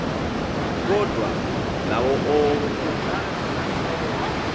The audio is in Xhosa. kodwa ngawo onke